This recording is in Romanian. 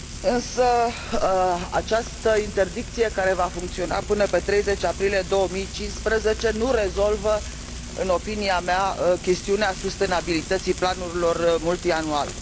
Însă această interdicție, care va funcționa până pe 30 aprilie 2015, nu rezolvă, în opinia mea, chestiunea sustenabilității planurilor multianuale.